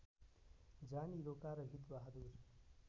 जानी रोका र हितबहादुर